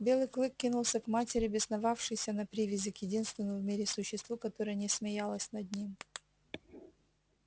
белый клык кинулся к матери бесновавшейся на привязи к единственному в мире существу которое не смеялось над ним